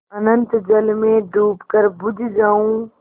अनंत जल में डूबकर बुझ जाऊँ